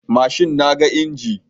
Mashin naga inji